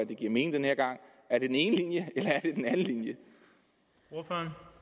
det giver mening den her gang er det den ene linje eller